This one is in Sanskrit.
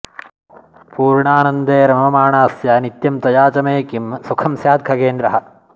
पूर्णानन्दे रममाणास्य नित्यं तया च मे किं सुखंस्यात्खगेन्द्र